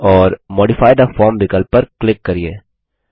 और modify the form विकल्प पर क्लिक करिये